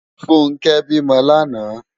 Funke bi mò làná